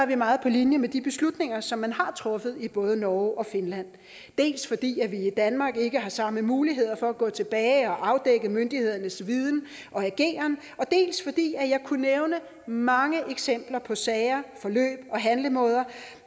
vi meget på linje med de beslutninger som man har truffet i både norge og finland dels fordi vi i danmark ikke har samme muligheder for at gå tilbage og afdække myndighedernes viden og ageren dels fordi jeg kunne nævne mange eksempler på sager forløb og handlemåder